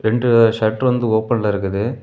ரெண்டு ஷட்டர் வந்து ஓபன்ல இருக்குது.